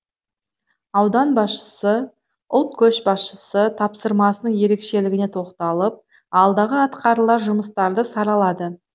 аудан басшысы ұлт көшбасшысы тапсырмасының ерекшелігіне тоқталып алдағы атқарылар жұмыстарды саралады